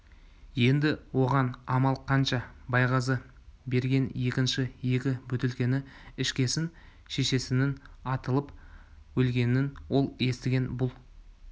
енді оған амал қанша байғазы берген екінші екі бөтелкені ішкесін шешесінің атылып өлгенін ол естіген бұл